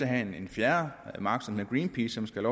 have en fjerde magt som greenpeace som skal